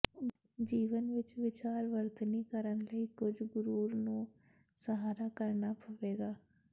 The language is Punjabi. ਜੀਵਨ ਵਿਚ ਵਿਚਾਰ ਵਰਤਨੀ ਕਰਨ ਲਈ ਕੁਝ ਗੁਰੁਰ ਨੂੰ ਸਹਾਰਾ ਕਰਨਾ ਪਵੇਗਾ